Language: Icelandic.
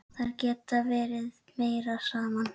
Þær geta verið meira saman.